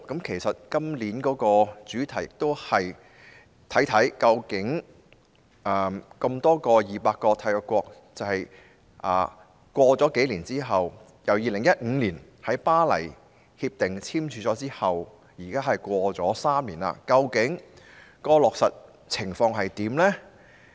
其實今年的主題，便是看一看 ，200 多個締約國自2015年簽署《巴黎協定》之後 ，3 年來究竟落實情況如何？